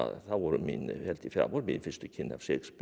það voru mín fyrstu kynni af Shakespeare